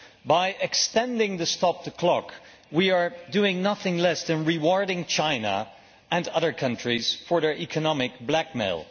By extending the stop the clock we are doing nothing less than rewarding China and other countries for their economic blackmail.